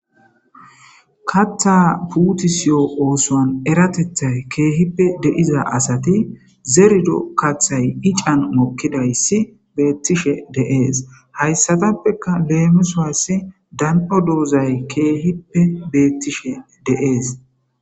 katha puutisiyo oosoan eratethay keehippe deiza asati zerdo kathay ican mokkidayssi beettishe deees hayssatappeka leemisoassi dan'o doozay keehippe bettishe deees.